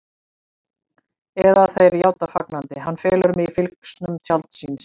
Eða þeir játa fagnandi: Hann felur mig í fylgsnum tjalds síns.